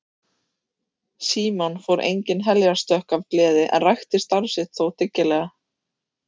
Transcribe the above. Símon fór engin heljarstökk af gleði en rækti starf sitt þó dyggilega.